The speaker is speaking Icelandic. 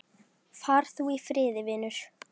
Far þú í friði, vinur.